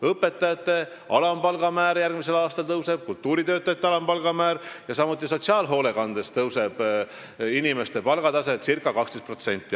Õpetajate alampalga määr järgmisel aastal tõuseb, samuti tõuseb kultuuritöötajate ja sotsiaalhoolekandes töötavate inimeste alampalk circa 12%.